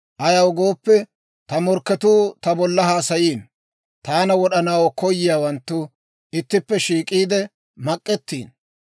Ayaw gooppe, ta morkketuu ta bolla haasayiino, Taana wod'anaw koyiyaawanttu ittippe shiik'iide mak'ettiino.